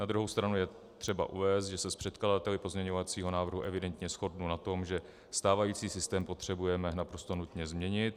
Na druhou stranu je třeba uvést, že se s předkladateli pozměňovacího návrhu evidentně shodnu na tom, že stávající systém potřebujeme naprosto nutně změnit.